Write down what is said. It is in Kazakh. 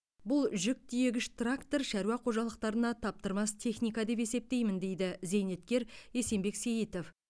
бұл жүк тиегіш трактор шаруа қожалықтарына таптырмас техника деп есептеймін дейді зейнеткер есенбек сейітов